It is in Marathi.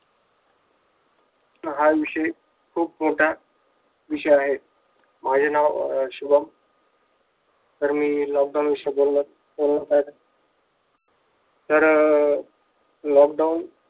हा विषय खूप मोठा विषय आहे माझे नाव अह शुभम तर मी लॉक डाऊन विषयी बोलणार आहे तर अह लॉकडाऊन